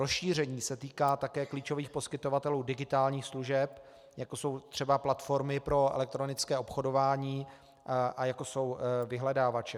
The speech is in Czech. Rozšíření se týká také klíčových poskytovatelů digitálních služeb, jako jsou třeba platformy pro elektronické obchodování a jako jsou vyhledávače.